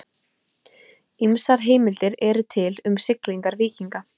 Ýmsar heimildir eru til um siglingar víkinga.